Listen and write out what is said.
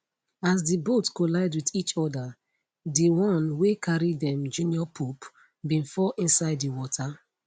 as di boat collide wit each oda dione wey carry dem junior pope bin fall inside di water